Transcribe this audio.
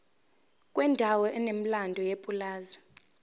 kwendawo enomlando yepulazi